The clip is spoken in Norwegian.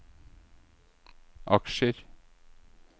aksjer